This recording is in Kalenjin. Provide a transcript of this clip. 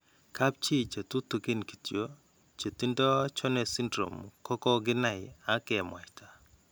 Kapchi che tutugin kityo che tindo Jones syndrome ko ko kinai ak ke mwaita.